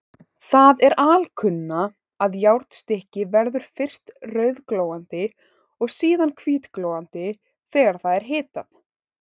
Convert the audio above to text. Það er alkunna, að járnstykki verður fyrst rauðglóandi og síðan hvítglóandi þegar það er hitað.